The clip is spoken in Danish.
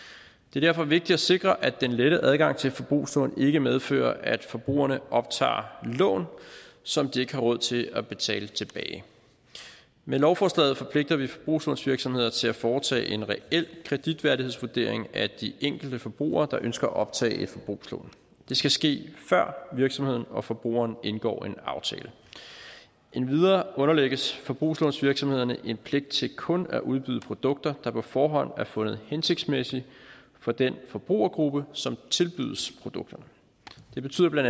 er derfor vigtigt at sikre at den lette adgang til forbrugslån ikke medfører at forbrugerne optager lån som de ikke har råd til at betale tilbage med lovforslaget forpligter vi forbrugslånsvirksomheder til at foretage en reel kreditværdighedsvurdering af de enkelte forbrugere der ønsker at optage et forbrugslån det skal ske før virksomheden og forbrugeren indgår en aftale endvidere underlægges forbrugslånsvirksomhederne en pligt til kun at udbyde produkter der på forhånd er fundet hensigtsmæssige for den forbrugergruppe som tilbydes produkterne det betyder bla